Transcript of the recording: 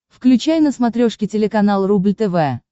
включай на смотрешке телеканал рубль тв